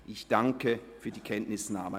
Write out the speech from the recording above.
Ich danke für die Kenntnisnahme.